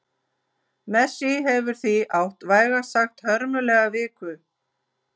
Messi hefur því átt vægast sagt hörmulega viku.